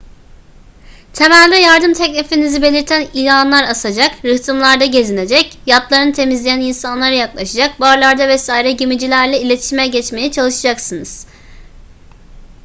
temelde yardım teklifinizi belirten ilanlar asacak rıhtımlarda gezinecek yatlarını temizleyen insanlara yaklaşacak barlarda vs gemicilerle iletişime geçmeye çalışacaksınız